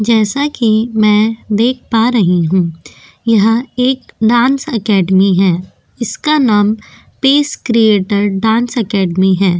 जैसा की में देख पा रही हु यहा एक डांस अकेडेमी है इसका नाम पेस क्रीएटर डांस अकेडेमी है।